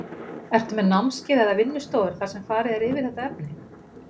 Ertu með námskeið eða vinnustofur þar sem farið er yfir þetta efni?